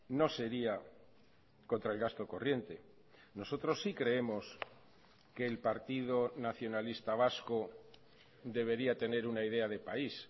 no sería contra el gasto corriente nosotros sí creemos que el partido nacionalista vasco debería tener una idea de país